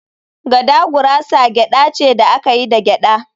“Gada gurasa gyada ce da aka yi da gyada